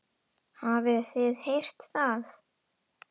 Hafið þið heyrt það?